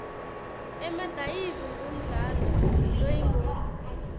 emadayizi ngumdlalo loyingoti